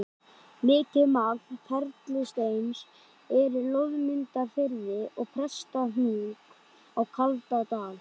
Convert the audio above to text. Mikið magn perlusteins er í Loðmundarfirði og Prestahnúk á Kaldadal.